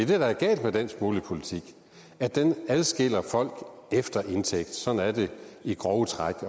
der er galt med dansk boligpolitik adskiller folk efter indtægt sådan er det i grove træk